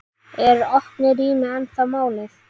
Eru opin rými ennþá málið?